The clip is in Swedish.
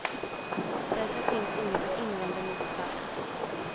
Därför finns inget att invända mot affären.